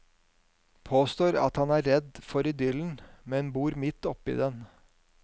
Påstår at han er redd for idyllen, men bor midt oppe i den.